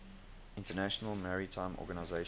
international maritime organization